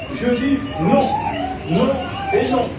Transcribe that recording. Je dis non, non et non!